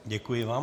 Děkuji vám.